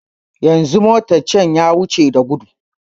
Yanzu motan can ya wuce da gudu